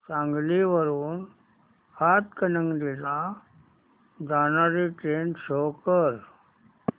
सांगली वरून हातकणंगले ला जाणारी ट्रेन शो कर